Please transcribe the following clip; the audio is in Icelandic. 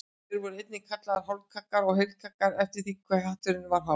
Þeir voru einnig kallaðir hálfkaggar og heilkaggar eftir því hve hatturinn var hár.